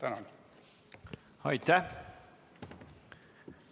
Aitäh!